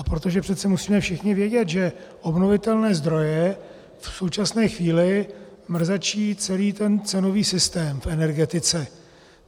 A protože přece musíme všichni vědět, že obnovitelné zdroje v současné chvíli mrzačí celý ten cenový systém v energetice.